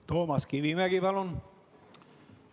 Toomas Kivimägi, palun!